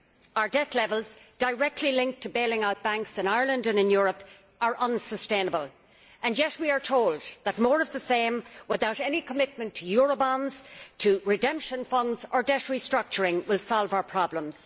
Our debt levels, directly linked to bailing out banks in Ireland and in Europe, are unsustainable, and yet we are told that more of the same, without any commitment to Eurobonds, to redemption funds or debt restructuring, will solve our problems.